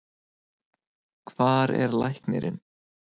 Hvar er læknirinn?